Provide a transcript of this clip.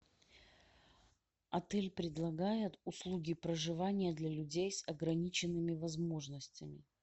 отель предлагает услуги проживания для людей с ограниченными возможностями